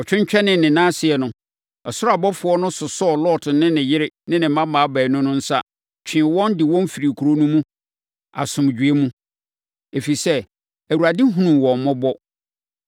Ɔtwentwɛnee ne nan ase no, ɔsoro abɔfoɔ no sosɔɔ Lot ne ne yere ne ne mmammaa baanu no nsa, twee wɔn, de wɔn firii kuro no mu asomdwoeɛ mu, ɛfiri sɛ, Awurade hunuu wɔn mmɔbɔ.